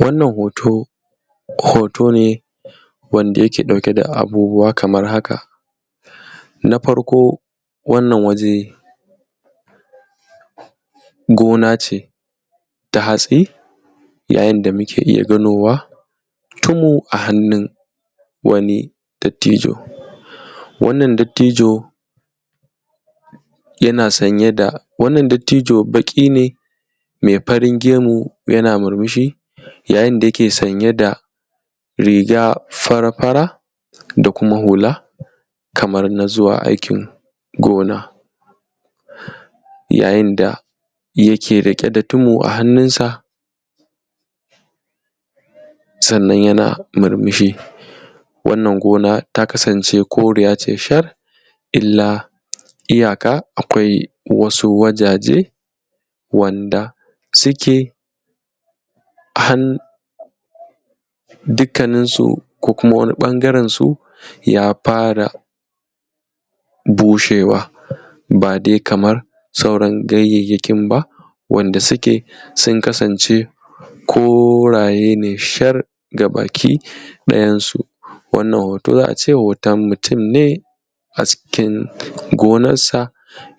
wannan hoto hoto ne wanda yake ɗauke da abubuwa kamar haka na farko wannan waje gona ce ta hatsi yayin da muke iya ganowa tumu a hannun wani dattijo wannan dattijo yana sanye da wannan dattijo baƙi ne mai farin gemu yana murmushi yayin da yake sanye da riga fara fara da kuma hula kamar na zuwa aikin gona yayin da yake riƙe da tumu a hannunsa sannan yana murmushi wannan gona ta kasance koriya tai shar illa iyaka akwai wasu wajaje wanda suke hannun dukkanin su ko kuma wani ɓangaren su ya fara bushewa ba dai kamar sauran ganyayyakin ba wanda suke sun kasance koraye ne shar gaba ki ɗayan su wannan hoto ya ce hoton mutum ne a cikin gonansa